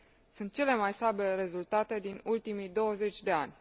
Sunt cele mai slabe rezultate din ultimii 20 de ani.